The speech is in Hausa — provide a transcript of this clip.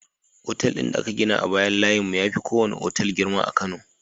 Otal din da aka gina a bayan layin mu yafi kowane otal girma a kano